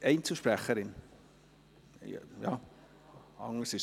Spricht Sarah Gabi Schönenberger als Einzelsprecherin?